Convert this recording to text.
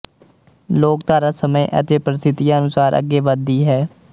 ਲੋਕਧਾਰਾ ਸਮੇਂ ਅਤੇ ਪ੍ਰਸਥਿਤੀਆਂ ਅਨੁਸਾਰ ਅੱਗੇ ਵੱਧਦੀ ਹੈ